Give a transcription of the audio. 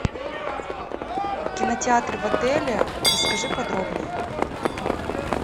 кинотеатр в отеле расскажи подробнее